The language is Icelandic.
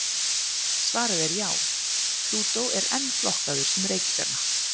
Svarið er já, Plútó er enn flokkaður sem reikistjarna.